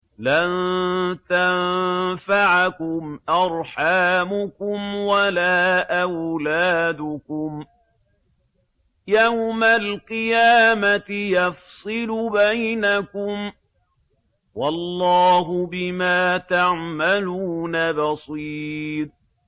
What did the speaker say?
لَن تَنفَعَكُمْ أَرْحَامُكُمْ وَلَا أَوْلَادُكُمْ ۚ يَوْمَ الْقِيَامَةِ يَفْصِلُ بَيْنَكُمْ ۚ وَاللَّهُ بِمَا تَعْمَلُونَ بَصِيرٌ